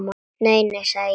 Nei, nei, sagði ég.